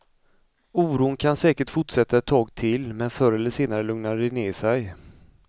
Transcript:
Oron kan säkert fortsätta ett tag till, men förr eller senare lugnar det sig.